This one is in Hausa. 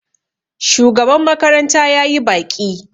shugaban makaranta ya yi baƙi